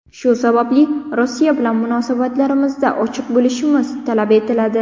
Shu sababli Rossiya bilan munosabatlarimizda ochiq bo‘lishimiz talab etiladi.